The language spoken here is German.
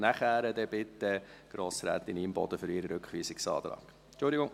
Nachher bitte ich Grossrätin Imboden für ihren Rückweisungsantrag ans Rednerpult.